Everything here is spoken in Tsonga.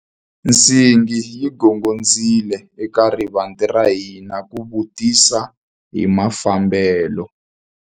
Nsingi yi gongondzile eka rivanti ra hina ku vutisa hi mafambelo.